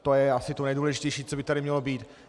To je asi to nejdůležitější, co by tady mělo být.